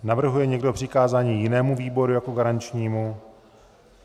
Navrhuje někdo přikázání jinému výboru jako garančnímu?